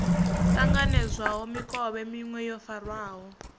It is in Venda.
ṱanganedzwaho mikovhe miṅwe yo farwaho